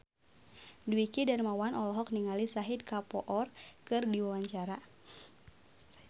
Dwiki Darmawan olohok ningali Shahid Kapoor keur diwawancara